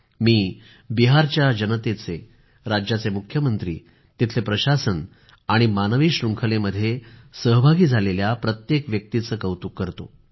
मी बिहारच्या जनतेचे राज्याचे मुख्यमंत्री तिथले प्रशासन आणि मानवी शृंखलेमध्ये सहभागी झालेल्या प्रत्येक व्यक्तीचे कौतुक करतो